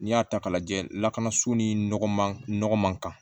N'i y'a ta k'a lajɛ lakanaso ni nɔgɔ man nɔgɔ man kan